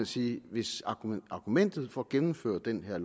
sige at hvis argumentet for at gennemføre den her